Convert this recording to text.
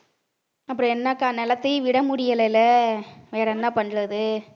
அப்புறம் என்னக்கா நிலத்தையும் விட முடியலைல வேற என்ன பண்றது